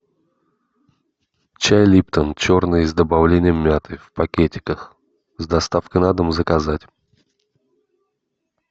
чай липтон черный с добавлением мяты в пакетиках с доставкой на дом заказать